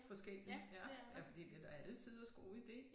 Forskellige ja ja fordi det da alletiders god ide